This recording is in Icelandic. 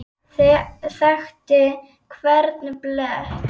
Þekkti hvern blett.